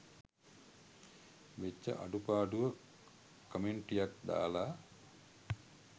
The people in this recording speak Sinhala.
වෙච්ච අඩුපාඩුව කමෙන්ටියක් දාලා